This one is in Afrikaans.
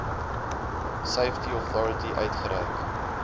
safety authority uitgereik